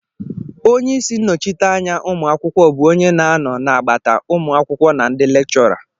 Onye isi nnọchiteanya anya ụmụ akwụkwọ bụ onye na-anọ n'agbata ụmụ akwụkwọ na ndị lekchọra